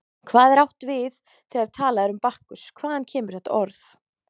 Hvað er átt við þegar talað er um Bakkus, hvaðan kemur þetta orð?